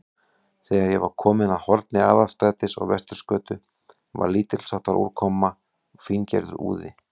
Þegar ég var kominn að horni Aðalstrætis og Vesturgötu, var lítilsháttar úrkoma, fíngerður úði.